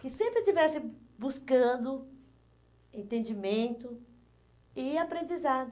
que sempre estivesse buscando entendimento e aprendizado.